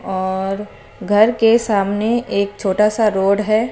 और घर के सामने एक छोटा सा रोड है।